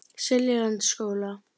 Seljalandsskóla